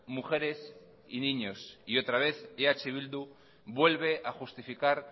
mujeres y niños y otra vez eh bildu vuelve a justificar